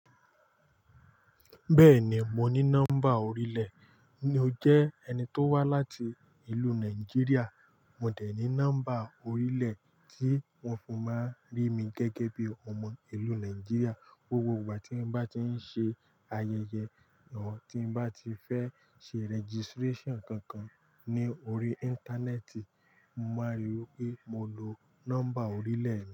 Bẹ́ẹ̀ni mo ní nọ́mbà orílẹ̀. N ó jẹ́ ẹni tó wá láti ìlú Nàìjíríà? Mo dẹ̀ ní nọ́mbà oriile, kí wọn má rí mi gẹ́gẹ́ bí ọmọ Nigeria. Gbogbo ìgbà tí n bá ti ń ṣe ayẹyẹ or tí n bá ti fẹ́ ṣe registration kankan ní orí íńtánẹ́ẹ̀tì, mo máa ríi pé mo lo nọ́mbà orílẹ̀ mi.